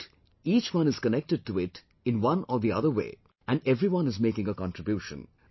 But, each one is connected to it in one or the other way and everyone is making a contribution